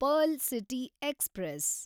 pearl city express